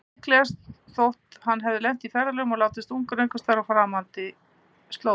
Líklegast þótti að hann hefði lent í ferðalögum og látist ungur einhversstaðar á framandi slóðum.